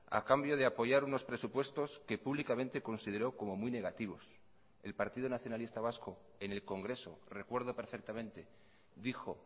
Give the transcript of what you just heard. a cambio de apoyar unos presupuestos que públicamente consideró como muy negativos el partido nacionalista vasco en el congreso recuerdo perfectamente dijo